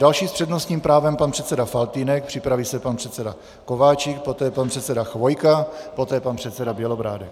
Další s přednostním právem pan předseda Faltýnek, připraví se pan předseda Kováčik, poté pan předseda Chvojka, poté pan předseda Bělobrádek.